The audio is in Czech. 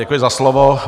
Děkuji za slovo.